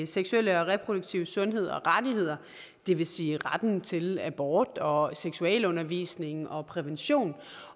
seksuelle og reproduktive sundhed og rettigheder det vil sige retten til abort og seksualundervisning og prævention